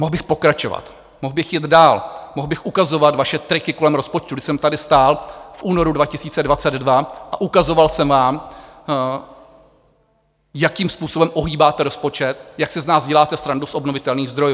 Mohl bych pokračovat, mohl bych jít dál, mohl bych ukazovat vaše triky kolem rozpočtu, když jsem tady stál v únoru 2022 a ukazoval jsem vám, jakým způsobem ohýbáte rozpočet, jak si z nás děláte srandu, z obnovitelných zdrojů.